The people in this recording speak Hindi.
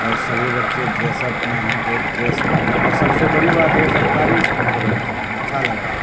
और सभी बच्चे ड्रेस अप मे है एक ड्रेस में है और सबसे बड़ी बात ये सरकारी स्कूल के बच्चे है अच्छा लग रहा--